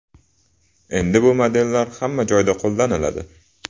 Endi bu modellar hamma joyda qo‘llaniladi.